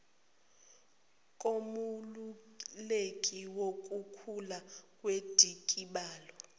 komeluleki wukukhula kwendikibalo